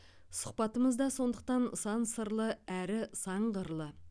сұхбатымыз да сондықтан сан сырлы әрі сан қырлы